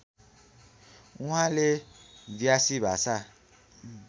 उहाँले व्यासी भाषा